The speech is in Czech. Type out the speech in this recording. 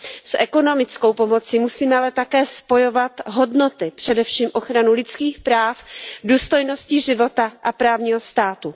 S ekonomickou pomocí musíme ale také spojovat hodnoty, především ochranu lidských práv, důstojnosti života a právního státu.